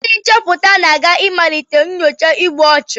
Ndị nchọpụta na-aga ịmalite nyocha igbu ọchụ